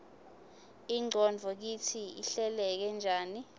ingqondvo kitsi ihleleke njani